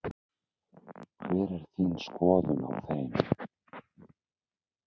Hver er þín skoðun á þeim?